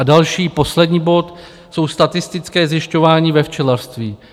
A další poslední bod jsou statistická zjišťování ve včelařství.